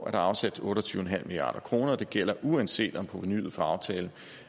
er afsat otte og tyve milliard kroner og det gælder uanset om provenuet fra aftalen